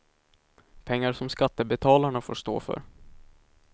Pengar som skattebetalarna får stå för.